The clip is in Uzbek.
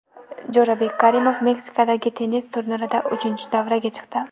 Jo‘rabek Karimov Meksikadagi tennis turnirida uchinchi davraga chiqdi.